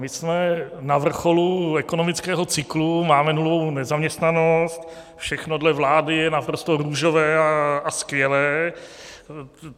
My jsme na vrcholu ekonomického cyklu, máme nulovou nezaměstnanost, všechno dle vlády je naprosto růžové a skvělé.